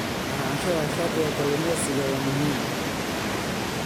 Lahaanshaha shatiga kalluumeysiga waa muhiim.